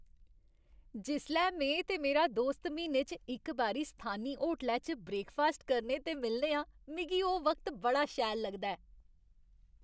जिसलै में ते मेरा दोस्त म्हीने च इक बारी स्थानी होटलै च ब्रेकफास्ट करने ते मिलने आं, मिगी ओह् वक्त बड़ा शैल लगदा ऐ।